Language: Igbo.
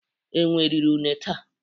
Enwe riri une taa